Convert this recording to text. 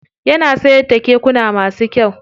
Yana siyar da kekuna masu kyau.